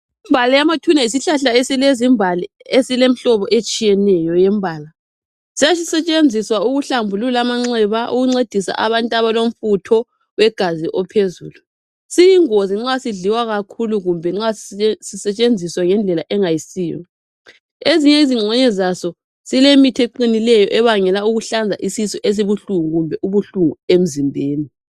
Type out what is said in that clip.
Imbali yamathuna yisihlahla esilezimbali, esilemhlobo etshiyeneyo yembala. Sasisetshenziswa ukuhlambulula amanxeba, ukuncediswa abantu abalomfutho wegazi ophezulu. Siyingozi nxa sidliwa kakhulu kumbe nxa sisetshenziswa ngendlela engayisiyo. Ezinye izingxenye zaso silemithi eqinileyo ebangela ukuhlanza, isisu esibuhlungu kumbe ubuhlungu emzimbeni.